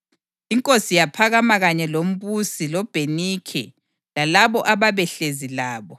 Inkosi yaphakama kanye lombusi loBhenikhe lalabo ababehlezi labo.